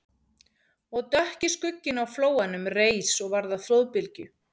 Og dökki skugginn á flóanum reis og varð að flóðbylgju